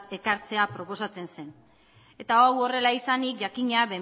ekartzea proposatzen zen eta hau horrela izanik jakina